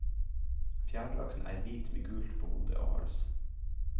Fjærdrakten er hvit med gult på hode og hals.